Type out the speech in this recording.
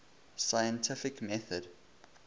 scientific method